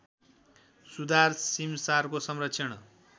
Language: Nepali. सुधार सीमसारको संरक्षण